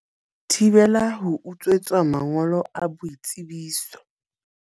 Thibela ho utswetswa mangolo a boitsebiso